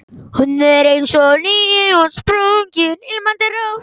Hún er eins og nýútsprungin, ilmandi rós.